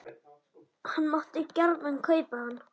Hann mátti gjarnan kaupa hann.